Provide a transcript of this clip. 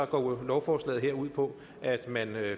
går lovforslaget her ud på at man